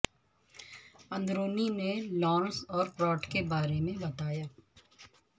اندرونی نے لارنس اور پراٹ کے بارے میں بتایا